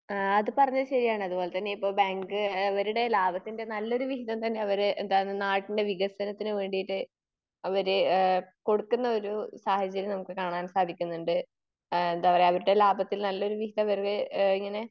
ആ അത് പറഞ്ഞെ ശെരിയാണ്. അതുപോലതന്നെ ഇപ്പൊ ബാങ്ക് അവരുടെ ലാഭത്തിൻ്റെ നല്ലൊരു വിഹിതം തന്നെ അവർ എന്താണ് നാടിൻ്റെ വികസനത്തിന്ന് വേണ്ടീട്ട് അവർ എഹ് കൊടുക്കുന്ന ഒരു സാഹചര്യം നമുക്ക് കാണാൻ സാധിക്കുന്നുണ്ട്. അഹ് എന്താ പറയാ അവരുടെ ലാഭത്തിൽ നല്ലൊരു വിഹിതം അവര് ഇങ്ങനെ